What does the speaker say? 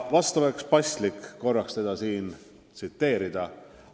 Vahest oleks paslik teda siin tsiteerida.